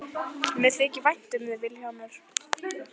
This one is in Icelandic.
Mér þykir vænt um þig Vilhjálmur.